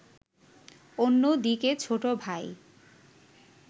অন্যদিকে ছোটভাই